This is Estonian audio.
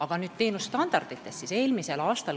Aga nüüd teenuse standarditest.